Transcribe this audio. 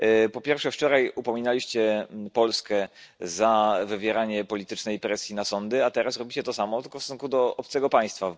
Po pierwsze, wczoraj upominaliście Polskę za wywieranie politycznej presji na sądy, a teraz robicie to samo, tylko w stosunku do obcego państwa.